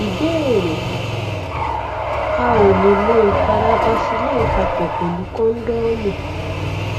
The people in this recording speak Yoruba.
ìbéèrè a ò lè lo ìpara vaseline papọ pẹlú kóńdọọmù